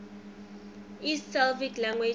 east slavic languages